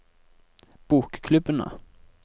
bokklubbene